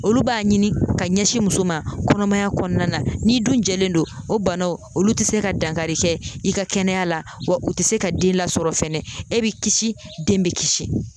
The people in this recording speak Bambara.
Olu b'a ɲini ka ɲɛsin muso ma kɔnɔmaya kɔnɔna na ,n'i dun jɛlen don ,o banaw olu tɛ se ka dankari kɛ i ka kɛnɛya la ,wa u tɛ se ka den lasɔrɔ fɛnɛ, e bɛ kisi den bɛ kisi